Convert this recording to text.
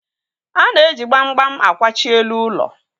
A na-eji gbamgbam akwachi elu ụlọ